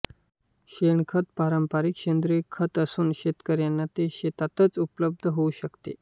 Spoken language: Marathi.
शेणखत हे पारंपारिक सेंद्रिय खत असून शेतकऱ्यांना ते शेतातच उपलब्ध होऊ शकते